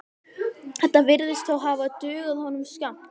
Þetta virðist þó hafa dugað honum skammt.